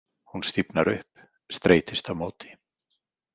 Hún stífnar upp, streitist á móti.